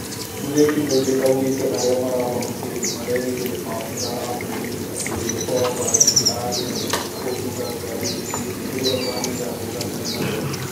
Mũthee Kĩmende aũgĩte arĩa marahonokire marerĩre maabĩtha a borithi atĩ dereba wa mbathi arageragia kũhĩtũka ngarĩ ĩngĩ rĩrĩa mbathi yagũthanĩre na rori